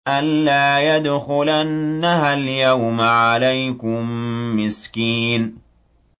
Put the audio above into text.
أَن لَّا يَدْخُلَنَّهَا الْيَوْمَ عَلَيْكُم مِّسْكِينٌ